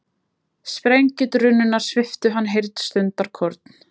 Sprengjudrunurnar sviptu hann heyrn stundarkorn.